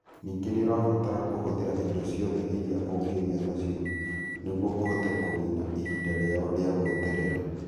Ningĩ nĩ ũrabatara kũhũthĩra indo ciothe iria ũngĩgĩa nacio nĩguo ũhote kũniina ihinda rĩao rĩa gweterera.